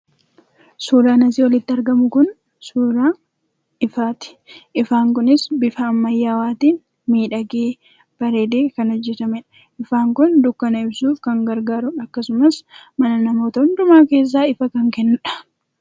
Suuraan asii olitti argamu Kun, suuraa ifaati. Ifaan kunis bifa ammayyaawaatiin miidhagee, bareedee kan ajajamedha. Ifaan kun dukkana ibsuuf kan gargaarudha akkasumas mana namoota hundumaa keessaa ifa kan kennudha.